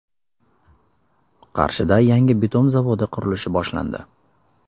Qarshida yangi bitum zavodi qurilishi boshlandi.